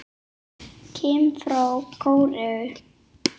Kim frá Kóreu